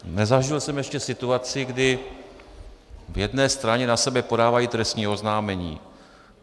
Nezažil jsem ještě situaci, kdy v jedné straně na sebe podávají trestní oznámení.